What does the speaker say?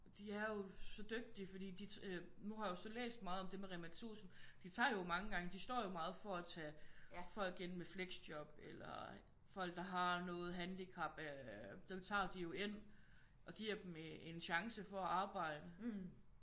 De er jo så dygtige fordi de øh nu har jeg jo så læst meget om det med Rema 1000 de tager jo mange gange de står jo meget for at tage folk ind med flexjob eller folk der har noget handicap øh dem tager de jo ind og giver dem en chance for at arbejde